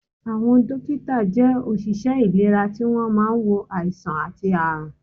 Àwọn dókítà jẹ́ òṣìṣẹ́ ìlera tí wọ́n máa ń wo àìsàn àti àrùn